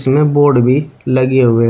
Board भी लगे हुए है।